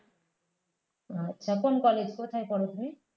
আচ্ছা কোন college কোথায় পড়ো তুমি